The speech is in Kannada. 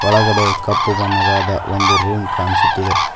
ಒಳಗಡೆ ಕಪ್ಪು ಬಣ್ಣದಾದ ಒಂದು ರೂಮ್ ಕಾಣಿಸುತ್ತಿದೆ.